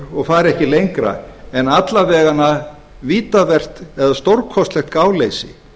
og fari ekki lengra en alla vega vítavert eða stórkostlegt gáleysi